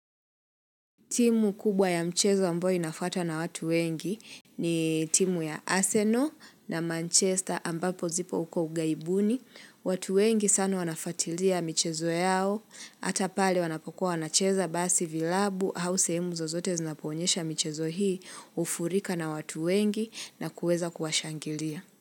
Timu kubwa ya mchezo ambayo inafata na watu wengi ni timu ya Arsenal na Manchester ambapo zipo uko ughaibuni. Watu wengi sana wanafatilia michezo yao, hata pale wanapokua wanacheza basi vilabu au sehemu zozote zinaponyesha mchezo hii hufurika na watu wengi na kuweza kuwashangilia.